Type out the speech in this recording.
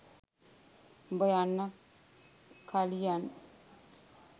උඹ යන්න කලියන්